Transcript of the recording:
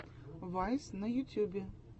вайс на ютьюбе